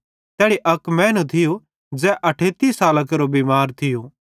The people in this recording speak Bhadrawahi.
तैड़ी अक मैनू थियूं ज़ै 38 सालां केरो बिमार थियूं